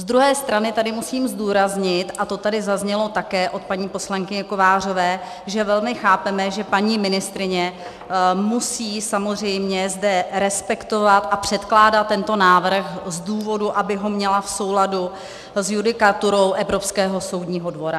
Z druhé strany tady musím zdůraznit, a to tady zaznělo také od paní poslankyně Kovářové, že velmi chápeme, že paní ministryně musí samozřejmě zde respektovat a předkládat tento návrh z důvodu, aby ho měla v souladu s judikaturou Evropského soudního dvora.